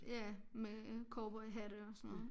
Ja med cowboyhatte og sådan noget